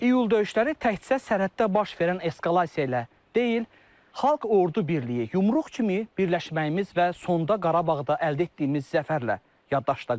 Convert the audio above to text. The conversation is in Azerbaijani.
İyul döyüşləri təkcə sərhəddə baş verən eskalasiya ilə deyil, Xalq Ordu birliyi, yumruq kimi birləşməyimiz və sonda Qarabağda əldə etdiyimiz zəfərlə yaddaşda qaldı.